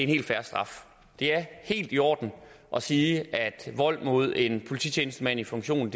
helt fair straf det er helt i orden at sige at vold mod en polititjenestemand i funktion